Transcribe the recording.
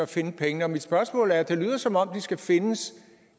finde pengene mit spørgsmål er at det lyder som om det skal findes